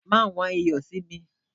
Ma wón iyo si mi!